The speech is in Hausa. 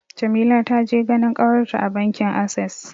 Jamila ta je ganin ƙawarta a bankin Ases.